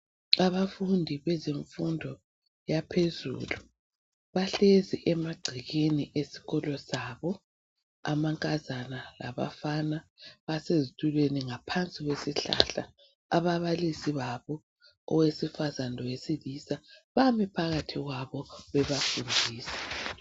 Abafundi bezemfundo yaphezulu bahlezi emagcekeni esikolo sabo, amankazana labafana basezitulweni ngaphansi kwesihlahla ababalisi babo owesifazana lowesilisa bami phakathi kwabo bebafundisa.